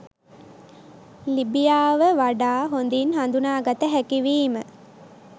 ලිබියාව වඩා හොඳින් හඳුනාගත හැකි වීම